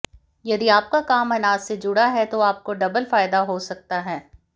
यदि आपका काम अनाज से जुड़ा है तो आपको डबल फायदा हो सकता है